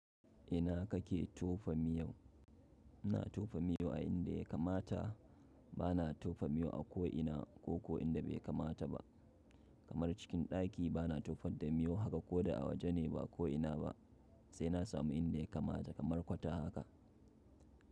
Ina kake tofa miyau? Ina tofa miyau a inda ya kamata, bana tofa miyau a ko ina ko ko inda bai kamata ba. Kamar cikin ɗaki bana tofat da miyo haka ko da a waje ba ko ina ba, sai na samu inda ya kamata kamar kwata haka.